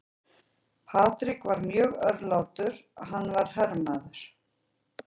Patrick var mjög örlátur, hann var herramaður.